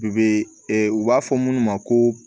U be u b'a fɔ minnu ma ko